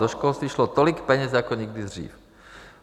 Do školství šlo tolik peněz jako nikdy dřív.